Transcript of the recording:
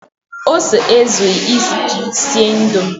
Ose ezughị iji sie Indomie